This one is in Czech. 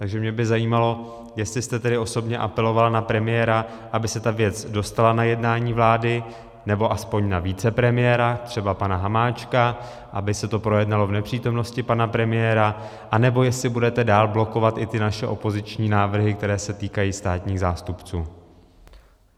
Takže mě by zajímalo, jestli jste tedy osobně apelovala na premiéra, aby se ta věc dostala na jednání vlády, nebo aspoň na vicepremiéra, třeba pana Hamáčka, aby se to projednalo v nepřítomnosti pana premiéra, anebo jestli budete dál blokovat i ty naše opoziční návrhy, které se týkají státních zástupců.